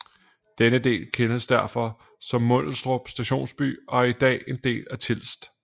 Denne del kendes derfor som Mundelstrup Stationsby og er i dag en del af Tilst